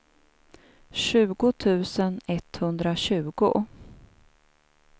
tjugo tusen etthundratjugo